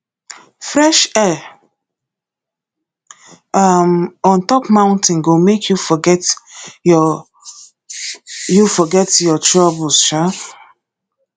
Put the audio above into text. fresh air um on top mountain go make you forget your you forget your troubles um